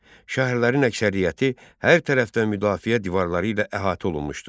Şəhərlərin əksəriyyəti hər tərəfdən müdafiə divarları ilə əhatə olunmuşdu.